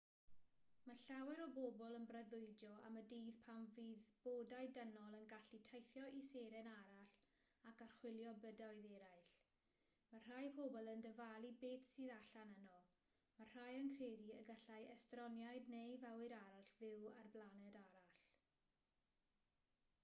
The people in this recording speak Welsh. mae llawer o bobl yn breuddwydio am y dydd pan fydd bodau dynol yn gallu teithio i seren arall ac archwilio bydoedd eraill mae rhai pobl yn dyfalu beth sydd allan yno mae rhai yn credu y gallai estroniaid neu fywyd arall fyw ar blaned arall